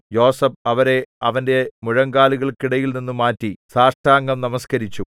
യോസേഫ് അവരെ അവന്റെ മുഴങ്കാലുകൾക്കിടയിൽനിന്നു മാറ്റി സാഷ്ടാംഗം നമസ്കരിച്ചു